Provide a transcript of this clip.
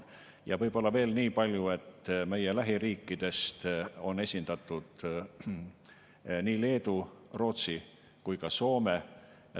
Ja võib-olla veel nii palju, et meie lähiriikidest on esindatud Leedu, Rootsi ja Soome.